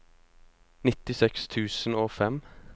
nittiseks tusen og fem